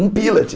Um pila.